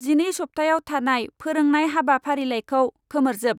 जिनै सब्थायाव थानाय फोरोंनाय हाबाफारिलाइखौ खोमोरजोब।